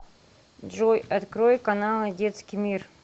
джой открой каналы детский мир